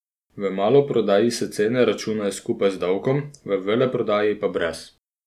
V maloprodaji se cene računajo skupaj z davkom, v veleprodaji pa brez.